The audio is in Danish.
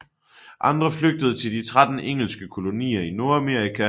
Andre flygtede til de 13 engelske kolonier i Nordamerika